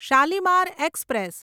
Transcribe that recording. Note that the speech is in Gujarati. શાલીમાર એક્સપ્રેસ